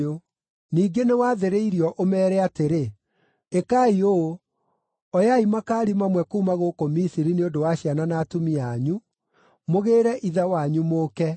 “Ningĩ nĩwathĩrĩrio ũmeere atĩrĩ: ‘Ĩkai ũũ: Oyai makaari mamwe kuuma gũkũ Misiri nĩ ũndũ wa ciana na atumia anyu, mũgĩĩre ithe wanyu mũũke.